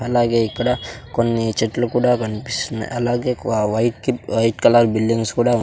అలాగే ఇక్కడ కొన్ని చెట్లు కూడా కనిపిస్తున్నాయ్ అలాగే కు ఆ వైట్ కి వైట్ కలర్ బిల్డింగ్స్ కూడా --